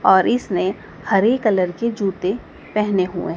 और इसने हरे कलर के जूते पहने हुए--